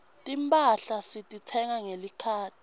timphahla sititsenga ngelikhadi